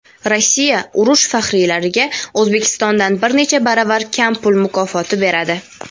Rossiya urush faxriylariga O‘zbekistondan bir necha baravar kam pul mukofoti beradi.